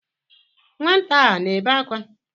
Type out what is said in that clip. Nwata a na-ebe akwa?